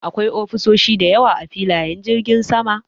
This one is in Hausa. Akwai ofisoshi da yawa a filiyen jirgin sama.